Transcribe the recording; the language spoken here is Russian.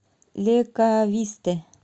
ле кависте